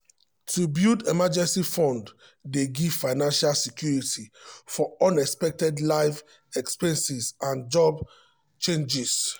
to build emergency fund dey give financial security for unexpected life expenses and job changes.